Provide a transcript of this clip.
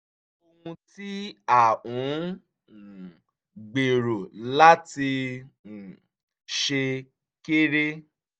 ohun tí à ń um gbèrò láti um ṣe kéré